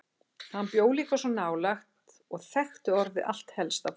Hann bjó líka svo nálægt og þekkti orðið allt helsta fólkið.